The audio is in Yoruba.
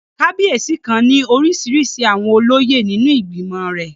Kábíyèsí kan ní orísirísi àwọn olóyè nínú ìgbìmọ̀ rẹ̀